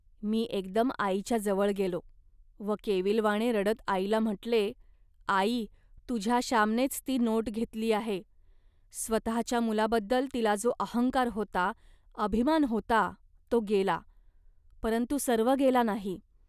मी एकदम आईच्या जवळ गेलो व केविलवाणे रडत आईला म्हटले, "आई तुझ्या श्यामनेच ती नोट घेतली आहे. स्वतःच्या मुलाबद्दल तिला जो अहंकार होता, अभिमान होता, तो गेला, परंतु सर्व गेला नाही